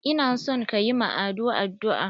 Ina son kayi ma Ado addu'a!